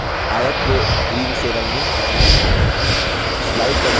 आयत को green से रंगे